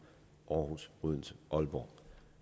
aarhus odense aalborg